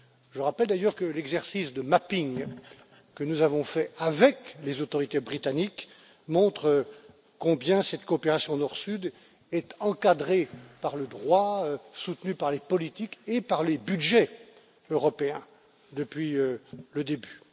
Je rappelle d'ailleurs que l'exercice de mapping que nous avons fait avec les autorités britanniques montre combien cette coopération Nord Sud est encadrée par le droit, soutenue par les politiques et par les budgets européens depuis le début.